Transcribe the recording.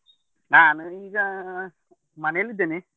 ನಾನು ಈಗ, ಮನೆಯಲ್ಲಿ ಇದ್ದೇನೆ.